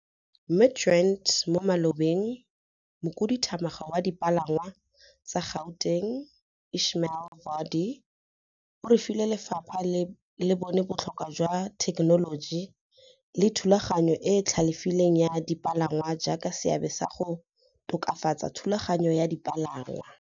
Midrand mo malobeng, Mokhuduthamaga wa Dipalangwa tsa Gauteng Ismail Vadi o rile lefapha le bone botlhokwa jwa thekenoloji le thulaganyo e e tlhalefileng ya dipalangwa jaaka seabe sa go tokafatsa thulaganyo ya dipalangwa.